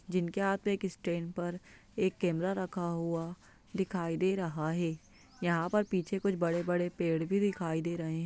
जिनके हाथ में एक स्टैण्ड पर एक कैमरा रखा हुआ दिखाई दे रहा है यहाँ पर पीछे कुछ बड़े-बड़े पेड़ भी दिखाई दे रहे हैं।